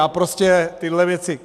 Já prostě tyhle věci...